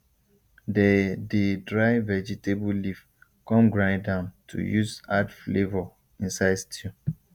they dey dry vegetable leaf come grind am to use add flavour inside stew